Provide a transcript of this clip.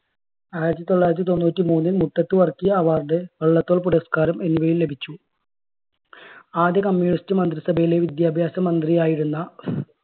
ആയിരത്തി തൊള്ളായിരത്തി തൊണ്ണൂറ്റി മൂന്നിൽ മുട്ടത്തുവർക്കി award, വള്ളത്തോൾ പുരസ്കാരം എന്നിവയും ലഭിച്ചു. ആദ്യ communist മന്ത്രിസഭയിലെ വിദ്യാഭ്യാസ മന്ത്രി ആയിരുന്ന